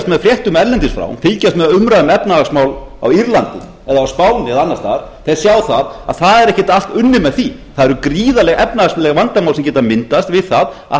með fréttum erlendis frá fylgjast með umræðu um efnahagsmál á írlandi eða á spáni eða annars staðar sjá að það er ekkert allt unnið með því það eru gríðarleg efnahagsleg vandamál sem geta myndast við það að